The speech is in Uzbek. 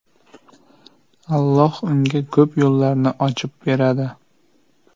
Alloh unga ko‘p yo‘llarni ochib beradi.